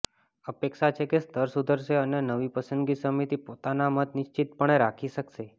અપેક્ષા છે કે સ્તર સુધરશે અને નવી પસંદગી સમિતિ પોતાનો મત નિશ્ચિતપણે રાખી શકશે